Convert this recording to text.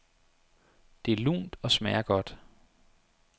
Det er lunt og smager godt.